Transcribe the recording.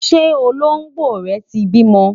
ṣé Olongbo rè tí bímọ?